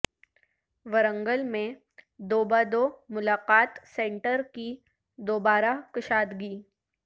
ورنگل میں دو بہ دو ملاقات سنٹر کی دوبارہ کشادگی